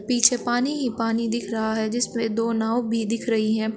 पीछे पानी ही पानी दिख रहा है जिसमे दो नाव भी दिख रही है।